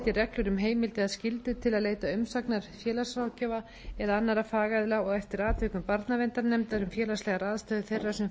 reglur um heimild eða skyldu til að leita til umsagnar félagsráðgjafa eða annarra fagaðila og eftir atvikum barnaverndarnefndar um félagslegar aðstæður þeirra sem fara í